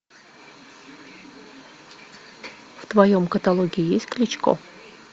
в твоем каталоге есть кличко